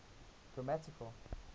grammatical